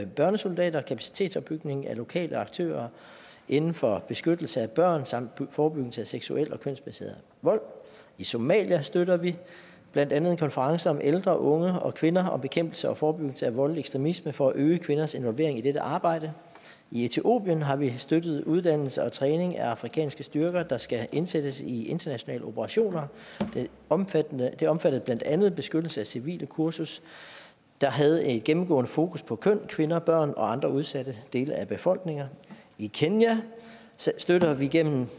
børnesoldater og kapacitetsopbygning af lokale aktører inden for beskyttelse af børn samt forebyggelse af seksuel og kønsbaseret vold i somalia støtter vi blandt andet en konference om ældre unge og kvinder om bekæmpelse og forebyggelse af voldelig ekstremisme for at øge kvinders involvering i dette arbejde i etiopien har vi støttet uddannelse og træning af afrikanske styrker der skal indsættes i internationale operationer det omfattede det omfattede blandt andet et beskyttelse af civile kursus der havde et gennemgående fokus på køn kvinder børn og andre udsatte dele af befolkninger i kenya støtter vi gennem